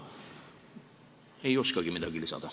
Ei oskagi midagi lisada.